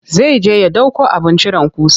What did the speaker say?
Zai je ya ɗauko abin cire ƙusa.